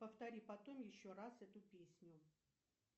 повтори потом еще раз эту песню